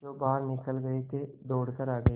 जो बाहर निकल गये थे दौड़ कर आ गये